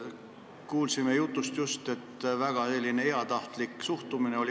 Kuulsime just, et eelnõusse suhtuti väga heatahtlikult.